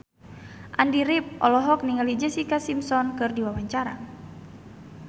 Andy rif olohok ningali Jessica Simpson keur diwawancara